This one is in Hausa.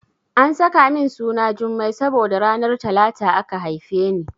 An saka min suna Jummai saboda ranar Talata aka haife ni.